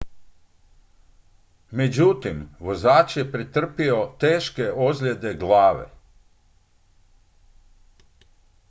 međutim vozač je pretrpio teške ozljede glave